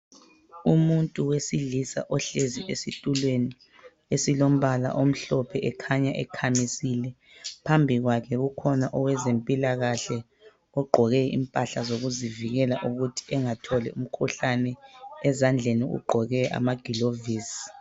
Umuntu wesilisa ohlezi esitulweni esilombala omhlophe okhanya ekhamisile. Phambi kwakhe ukhona owezempilakahle ogqoke impahla zokuzivikela ukuthi angatholi umkhuhlane, ezandleni ugqoke amaglovisi.